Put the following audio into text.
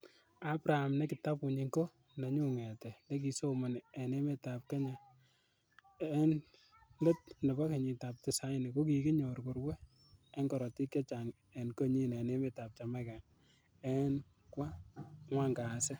Abraham nekitabunyik ko ' Nenyun ng'etet, nekikisomoni en emetab Kenya en let nebo kenyitab tisaini, ko kikinyor korue en korotik chechang en konyin en Jamaica en kwa angwan kasi.